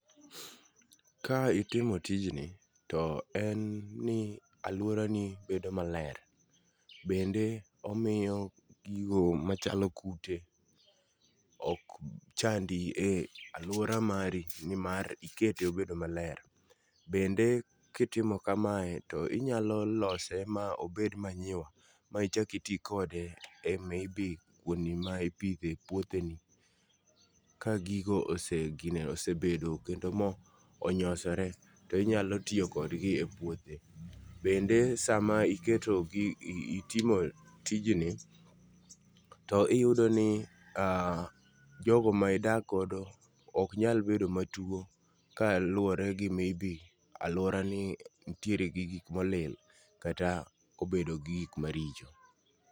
Ka itimo tijni to en ni aluora ni bedo maler. Bende omiyo gigo machalo kute ok chandi e aluora mari nimar ikete o bedo maler . Bende kitimo kamae to inyalo lose ma obed manyiwa michaki tii kode e maybe kuonde ma ipidhe ouothe ni. Ka gigo osegine osebedo kendo monyoseore to inyalo tiyo kodgi e puothe. Bende sama iketo gigi itimo tijni to iyudo ni jogo ma idak godo ok nya bedo matuo kaluwore gi maybe aluora ni ntie gi gik molil lkata obedo gi gik maricho.